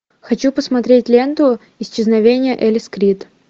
хочу посмотреть ленту исчезновение элис крид